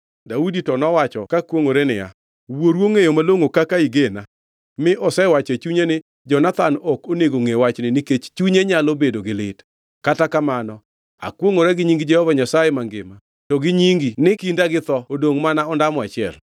Daudi to nowacho ka kwongʼore niya, “Wuoru ongʼeyo malongʼo kaka igena mi osewacho e chunye ni, ‘Jonathan ok onego ngʼe wachni nikech chunye nyalo bedo gi lit.’ Kata kamano akwongʼora gi nying Jehova Nyasaye mangima to gi nyingi ni kinda gi tho odongʼ mana ondamo achiel.”